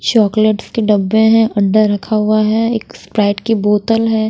Chocolates के डब्बे है अंडा रखा हुआ है एक स्प्राइट की बोतल है।